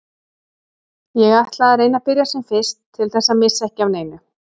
Ég ætla að reyna að byrja sem fyrst til þess að missa ekki af neinu.